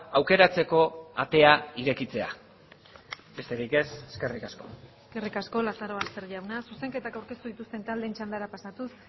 aukeratzeko atea irekitzea besterik ez eskerrik asko eskerrik asko lazarobaster jauna zuzenketak aurkeztu dituzten taldeen txandara pasatuz